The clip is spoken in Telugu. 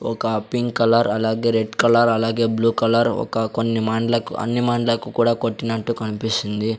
ఒక పింక్ కలర్ అలాగే రెడ్ కలర్ అలాగే బ్లూ కలర్ ఒక కొన్ని మాన్లకు అన్ని మాన్లకు కూడా కొట్టినట్టు కనిపిస్తుంది.